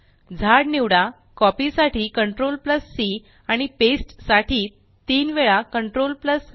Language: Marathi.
झाड निवडा कॉपी साठी CTRLC आणि पेस्ट साठी तीन वेळा CTRLV